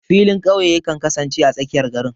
Filin ƙauye yakan kasance a tsakiyar garin.